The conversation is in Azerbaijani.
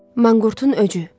Manqurtun öcü.